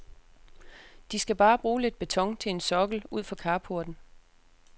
De skal bare bruge lidt beton til en sokkel ud for carporten.